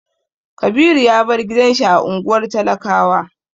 Kabiru ya bar gidan shi na unguwar talakawa.